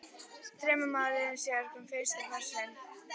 Þremur mánuðum síðar kom fyrsti kossinn.